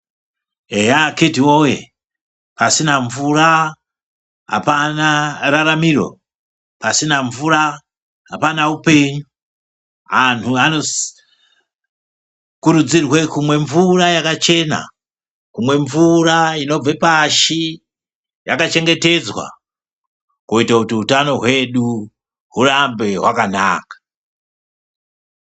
Eya akiti woyee pasina mvura hapana raramiro pasina mvura hapana upenyu antu anokurudzirwe kumwa mvura yakachena kumwe mvura inobve pashi yakachengetedzwa kuite kuti utano hwedu hurambe hwakanaka.